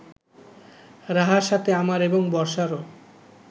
রাহার সাথে আমার এবং বর্ষারও